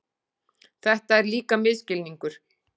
Þetta er líka misskilningur.